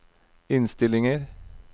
innstillinger